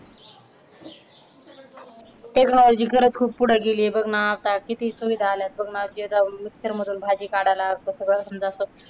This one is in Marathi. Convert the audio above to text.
techology खरंच खूप पुढे गेली बघ ना! आता किती सुविधा आल्या आहेत आता बघ ना mixer मधून भाजी काढायला असं सगळं म्हणजे